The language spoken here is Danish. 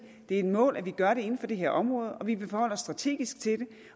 det er et mål at vi gør det inden for det her område og vi vil forholde os strategisk til det